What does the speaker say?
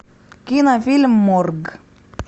кинофильм морг